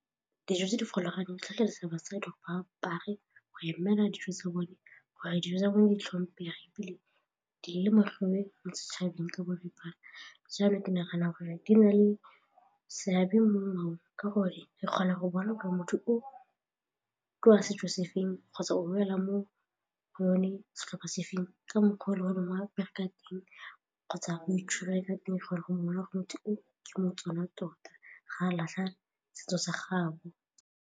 Dijo tse di kgolaganyo di tlhagisa basadi go apare go emela dijo tsa bone gore dijo tsa bone di tlhomphegile mo setšhabeng ka boripana jalo ke nagana gore di na le seabe mo ka gore re kgona go bona gore motho o ke wa setso sefeng kgotsa o boela mo go one setlhopa sefeng ka mokgwa wa bereka teng kgotsa o itshwere ka teng gore go mongwe wa go motho o ke mo-Tswana tota ga latlha setso sa gago.